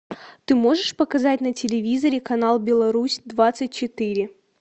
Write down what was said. ты можешь показать на телевизоре канал беларусь двадцать четыре